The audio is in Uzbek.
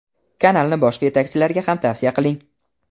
Kanalni boshqa yetakchilarga ham tavsiya qiling.